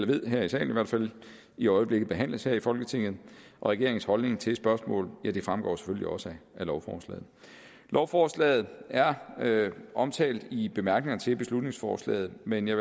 ved her i salen i hvert fald i øjeblikket behandles her i folketinget og regeringens holdning til spørgsmålet fremgår selvfølgelig også af lovforslaget lovforslaget er omtalt i bemærkningerne til beslutningsforslaget men jeg